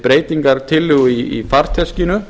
breytingartillögu í farteskinu